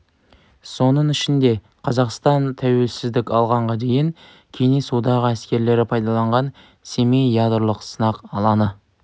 соның ішінде қазақстан тәуелсіздік алғанға дейін кеңес одағы әскерлері пайдаланған семей ядролық сынақ алаңы